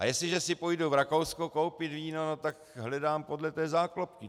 A jestliže si půjdu v Rakousku koupit víno, no tak hledám podle té záklopky.